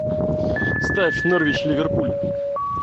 ставь норвич ливерпуль